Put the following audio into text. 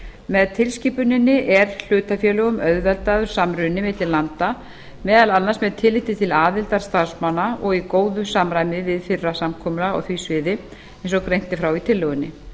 með tilskipuninni er hlutafélögum auðveldaður samruni milli landa meðal annars með tilliti til aðildar starfsmanna og í góðu samræmi við fyrra samkomulag á því sviði eins og greint er frá í tillögunni